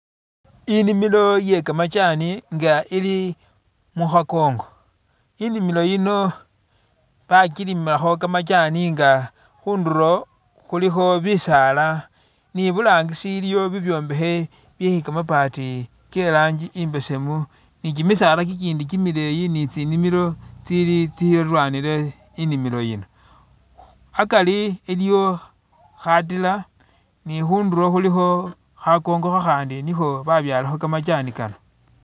Inimilo iye kamajani nga ili mukhakongo, inimilo yino bakilimakho kamajani nga khundulo khulikho bisaala ni burangisi iliyo bibyombekhe byekamabati ke'rangi i'mbesemu ni kimisaala kikindi kimileyi ni tsinimilo tsili tsililwanile inimilo yino, akari iliyo khatila ni khundulo khulikho khakongo khakhandi nikho babyalakho kamajani kano